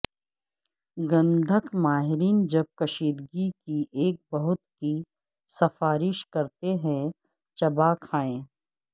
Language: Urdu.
گندھک ماہرین جب کشیدگی کی ایک بہت کی سفارش کرتے ہیں چبا کھائیں